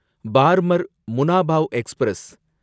Barmer Munabao express